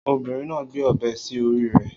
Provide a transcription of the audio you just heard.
Obìnrin náà ń gbé ọ̀bẹ sí orí rẹ̀